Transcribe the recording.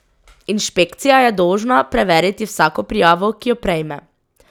Inšpekcija je dolžna preveriti vsako prijavo, ki jo prejme.